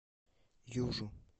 южу